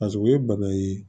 paseke u ye bana ye